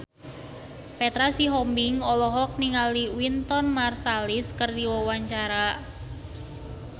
Petra Sihombing olohok ningali Wynton Marsalis keur diwawancara